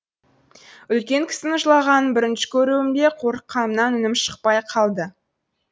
үлкен кісінің жылағанын бірінші көруім бе қорыққанымнан үнім шықпай қалды